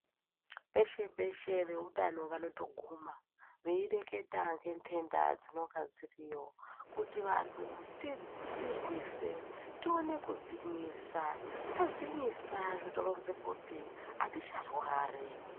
Peshe peshe veutano vano guma veireketa ngendenda dzinenge dziriyo kuti vantu tidzirwise tione kudzinyisa tadzinyisa zvitoronze kuti aticharwari.